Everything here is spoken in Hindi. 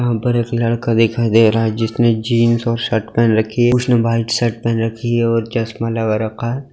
यहां पर एक लड़का दिखाई दे रहा है जिसने जिंस और शर्ट पहन रखी है उसने व्हाइट शर्ट पहन रखी है और चश्मा लगा रखा है।